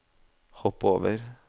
hopp over